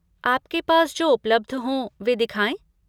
आपके पास जो उपलब्ध हों वे दिखाए?